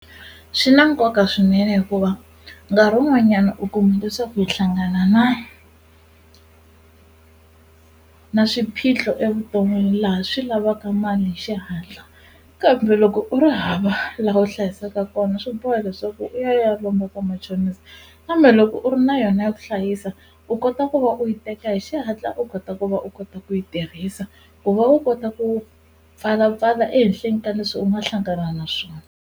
Swi na nkoka swinene hikuva nkarhi wun'wanyana u kuma leswaku mi hlangana na na swiphiqo evuton'wini laha swi lavaka mali hi xihatla kambe loko u ri hava laha u hlayisaka kona swi boha leswaku u ya ya lomba ka machonisi kambe loko u ri na yona ya ku hlayisa u kota ku va u yi teka hi xihatla u kota ku va u kota ku yi tirhisa ku va u kota ku pfalapfala ehenhleni ka leswi u nga hlangana na swona.